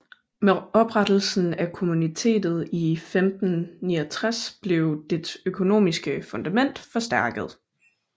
Med oprettelsen af Kommunitetet i 1569 blev dets økonomiske fundament forstærket